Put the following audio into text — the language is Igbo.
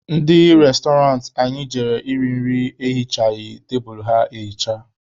Ndị restoranti anyị jere iri nri na ya ehichaghị tebulu ha ehicha.